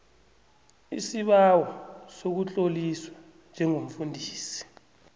isibawo sokutloliswa njengomfundisi